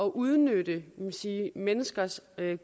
at udnytte menneskers